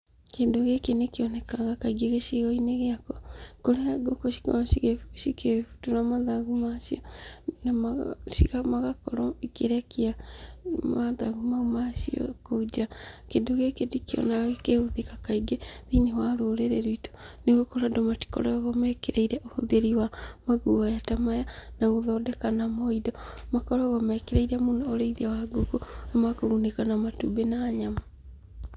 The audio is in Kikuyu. Kĩndũ gĩkĩ nĩ kĩonekaga kaingĩ gĩcigo-inĩ gĩakwa, kũrĩa ngũkũ cikoragwo cikĩbutũra mathagu macio, na magakorwo ikĩrekia mathagu mau macio kũu nja, kĩndũ gĩkĩ ndikĩonaga gĩkĩhũthĩka kaingĩ thĩinĩ wa rũrĩrĩ rwitũ, nĩgũkorwo andũ matikoragwo mekĩrĩire ũhũthĩri wa maguaya ta maya, na gũthondeka namo indo, makoragwo mekĩrĩire mũno ũríĩthia wa ngũkũ ũrĩa makũgunĩka na matumbĩ na nyama.